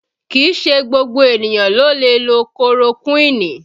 Kìí ṣe gbogbo ènìyàn ló lè lo korokuini